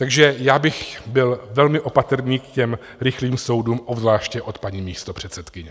Takže já bych byl velmi opatrný k těm rychlým soudům, obzvláště od paní místopředsedkyně.